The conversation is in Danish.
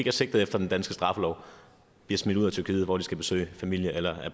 er sigtet efter den danske straffelov bliver smidt ud af tyrkiet hvor de skal besøge familie eller